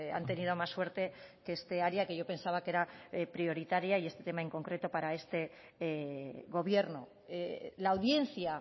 han tenido más suerte que esta área que yo pensaba que era prioritaria y este tema en concreto para este gobierno la audiencia